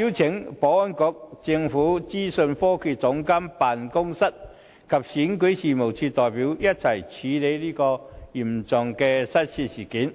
邀請保安局、政府資訊科技總監辦公室及選舉事務處的代表一同處理這宗嚴重的失竊事件。